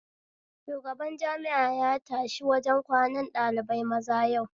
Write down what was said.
Shubagan jami'a yashi wajen kwanan ɗalibai maza yau